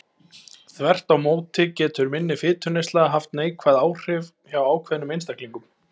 Þvert má móti getur minni fituneysla haft neikvæð áhrif hjá ákveðnum einstaklingum.